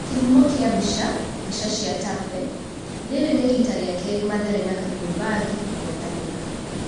Kĩ humo kia mbica, mbica cia Tafe. Rĩ rĩ nĩ rita rĩ a kerĩ Mathare na Kariombangi kũng'ethanĩ ra.